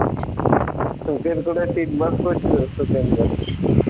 শোকের করে তিনবার আমি জানি